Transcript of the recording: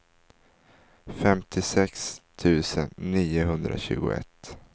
femtiosex tusen niohundratjugoett